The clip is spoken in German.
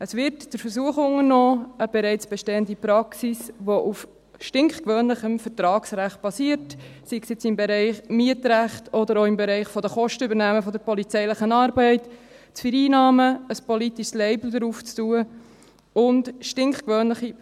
Es wird der Versuch unternommen, eine bereits bestehende Praxis, die auf stinkgewöhnlichem Vertragsrecht basiert, sei es im Bereich Mietrecht oder auch im Bereich der Kostenübernahme der polizeilichen Arbeit, zu vereinnahmen, ein politisches Label darauf anzubringen und stinkgewöhnliche